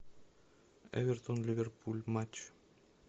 эвертон ливерпуль матч